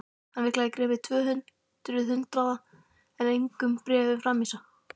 Hann vill greiða tvö hundruð hundraða en engum bréfum framvísa!